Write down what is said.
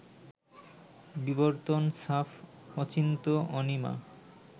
বিবর্তন, সাফ, অচিন্ত্য-অনিমা